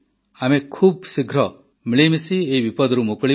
ଆମେ ଖୁବ୍ଶୀଘ୍ର ମିଳିମିଶି ଏହି ବିପଦରୁ ମୁକୁଳିବା